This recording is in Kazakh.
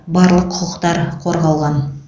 барлық құқықтар қорғалған